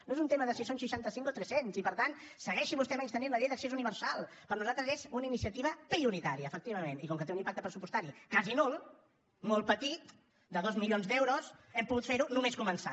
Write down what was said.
no és un tema de si són seixanta cinc o tres cents i per tant segueixi vostè menystenint la llei d’accés universal per nosaltres és una iniciativa prioritària efectivament i com que té un impacte pressupostari quasi nul molt petit de dos milions d’euros hem pogut fer ho només començar